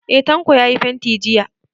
Eh, Tanko ya yi fenti jiya.